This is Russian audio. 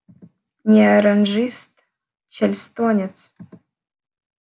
не оранжист чарльстонец